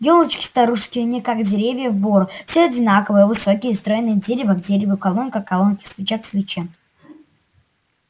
ёлочки-старушки не как деревья в бору все одинаковые высокие стройные дерево к дереву колонка к колонке свеча к свече